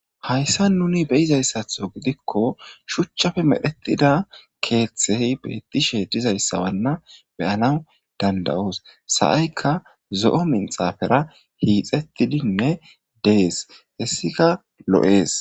hayssa nuni beizayssatho gidikko shuchchafe medhetida keeththey beettishe dizayssawanna beyanaw danda7oos sa7aykka zo7o minxafera hiixettidinne dees hessika lo7ees